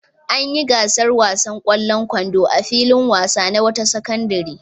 An yi gasar wasan ƙwallon kwando a filin wasa na wata sakandare.